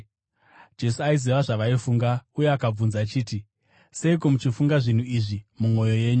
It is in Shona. Jesu aiziva zvavaifunga uye akabvunza achiti, “Seiko muchifunga zvinhu izvi mumwoyo yenyu?